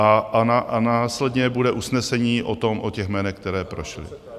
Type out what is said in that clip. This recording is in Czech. A následně bude usnesení o těch jménech, která prošla?